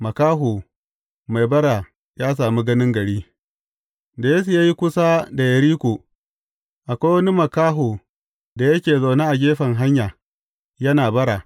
Makaho mai bara ya sami ganin gari Da Yesu ya yi kusa da Yeriko, akwai wani makaho da yake zaune a gefen hanya, yana bara.